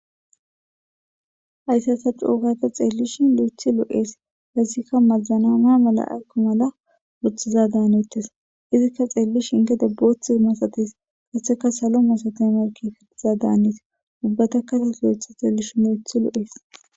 Hayssasa cuugata xeellishi lo'ethi loo'ees hassikka mazana maa mala akko mala woothiza daanettes izikka xeellishi inte debbotha masates kaseka salo masate marki fittiza daanees ubbata kase lo'etha xeellishi lo'ethi lo7ees.